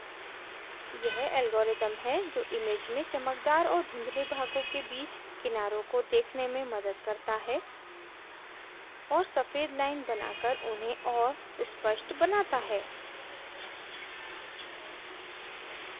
यह algorithm है जो image में चमकदार और धुंधले भागों के बीच किनारों को देखने में मदद करता है और सफ़ेद line बनाकर उन्हें और स्पष्ट बनाता है